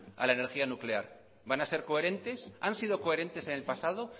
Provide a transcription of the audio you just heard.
a la energía nuclear van a ser coherentes han sido coherentes en el pasado